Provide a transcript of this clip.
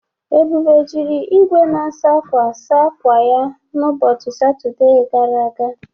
Ebube jiri igwe na-asa akwa saa akwa ya n'ụbọchị Satọde gara aga.